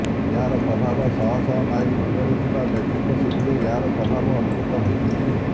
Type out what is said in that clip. ଏହାର ପ୍ରଭାବ ଶହଶହ ମାଇଲ ଦୂରରେ ଥିବା ମେକ୍ସିକୋ ସିଟିରେ ଏହାର ପ୍ରଭାବ ଅନୁଭତ ହୋଇଛି